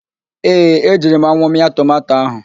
Ee, ejiri m anwụ mịa tomanto ahụ